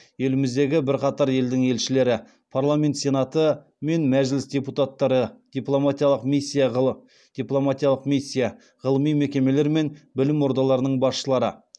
еліміздегі бірқатар елдің елшілері парламент сенаты мен мәжіліс депуттары дипломатиялық миссия ғылыми мекемелер мен білім ордаларының басшылары